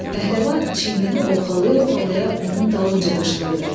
Pəhləvan çiynini ovxalaya-ovxalaya onun dalınca qışqırdı: